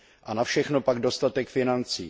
A na všechno pak dostatek financí.